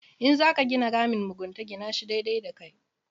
In za ka gina ramin mugunta gina shi daidai da kai.